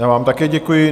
Já vám také děkuji.